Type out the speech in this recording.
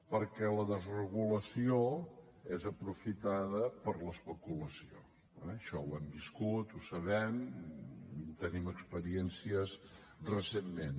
perquè la desregulació és aprofitada per l’especulació eh això ho hem viscut ho sabem en tenim experiències recentment